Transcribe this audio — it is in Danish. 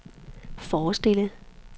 forestille